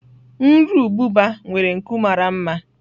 Nru ububa nwere nku mara mma.